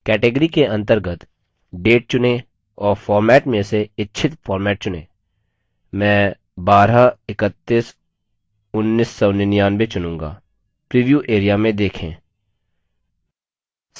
category के अंतर्गत date चुनें और format में से इच्छित format चुनें मैं 12311999 चुनूँगा प्रीव्यू area में देखें